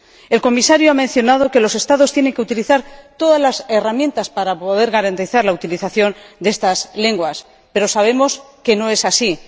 El Comisario ha mencionado que los Estados tienen que utilizar todas las herramientas para poder garantizar la utilización de estas lenguas, pero sabemos que no es así.